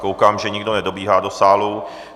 Koukám, že nikdo nedobíhá do sálu.